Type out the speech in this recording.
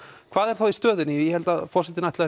hvað er þá í stöðunni ég held að forsetinn sé